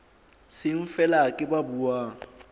seng feela ke ba buang